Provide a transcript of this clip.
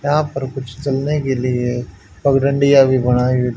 यहां पर कुछ चलने के लिए पगडंडिया भी बनाई--